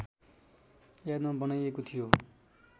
यादमा बनाइएको थियो